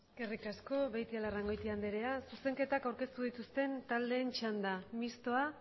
eskerrik asko beitialarrangoitia andrea zuzenketak aurkeztu dituzten taldeen txanda mistoa